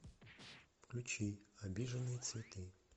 включи обиженные цветы